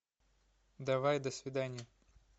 давай до свидания